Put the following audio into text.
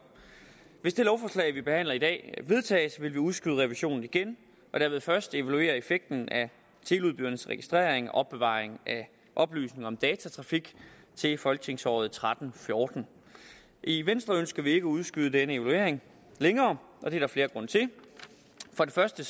hvis det lovforslag vi behandler i dag vedtages vil vi udskyde revisionen igen og dermed først evaluere effekten af teleudbydernes registrering og opbevaring af oplysninger om datatrafik i folketingsåret og tretten til fjorten i venstre ønsker vi ikke at udskyde denne evaluering længere og det er der flere grunde til for det første